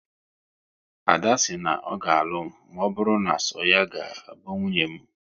Ada si na ọ ga alụ m maọbụru na so ya ga bụ nwunye m